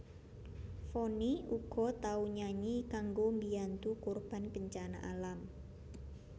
Vonny uga tau nyanyi kanggo mbiyantu korban bencana alam